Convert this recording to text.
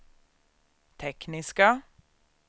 tekniska